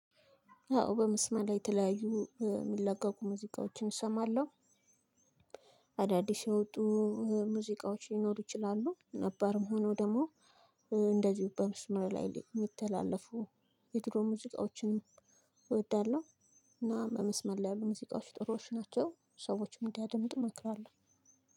አወ በመስመር ላይ የተለያዩ የሚለቀቁ ሙዚቃዎችን እሰማለሁ። አዳዲስ የወጡ ሙዚቃዎች ሊኖሩ ይችላሉ ነባርም ሁነው ደግሞ እንደዚሁም በመስመር ላይ የሚተላለፉ የድሮ ሙዚቃዎችን እወዳለሁ። እና በመስመር ላይ ያሉ ሙዚቃዎች ጥሩዎች ናቸው ሰዎችም እንዲያደምጡ እመክራለሁ።